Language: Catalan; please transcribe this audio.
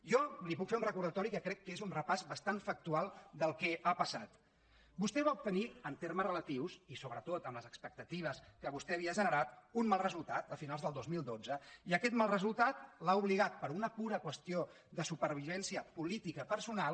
jo li puc fer un recordatori que crec que és un repàs bastant factual del que ha passat vostè va obtenir en termes relatius i sobretot amb les expectatives que vostè havia generat un mal resultat a finals del dos mil dotze i aquest mal resultat l’ha obligat per una pura qüestió de supervivència política personal